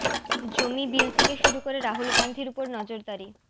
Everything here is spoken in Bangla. জমি বিল থেকে শুরু করে রাহুল গাঁধীর উপর নজরদারি